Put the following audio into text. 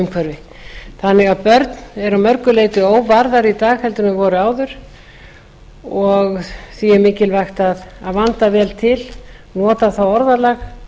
umhverfi börn eru því að mörgu leyti óvarðari en þau voru áður og því er mikilvægt að vanda vel til nota það orðalag